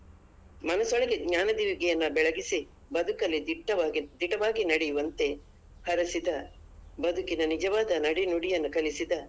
ಮನಸೊಳಗೆ ಜ್ಞಾನ ದೀವಿಗೆಯನ್ನ ಬೆಳಗಿಸಿ ಬದುಕಲ್ಲಿ ದಿಟ್ಟವಾಗಿ ದಿಟವಾಗಿ ನಡೆಯುವಂತೆ ಹರಸಿದ ಬದುಕಿನ ನಿಜವಾದ ನಡೆನುಡಿಯನ್ನು ಕಲಿಸಿದ.